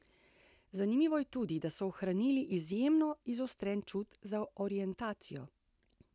Zanimivo je tudi, da so ohranili izjemno izostren čut za orientacijo.